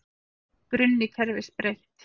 Grunni kerfis breytt